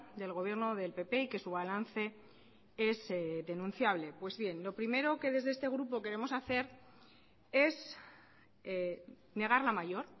del gobierno del pp y que su balance es denunciable pues bien lo primero que desde este grupo queremos hacer es negar la mayor